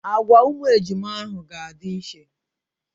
Agwa ụmụ ejima ahụ ga-adị iche.